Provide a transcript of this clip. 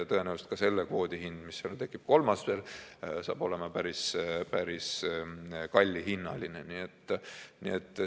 Ja tõenäoliselt ka selle kvoodi hind, mis seal tekib, kolmas veel, saab olema päris kallihinnaline.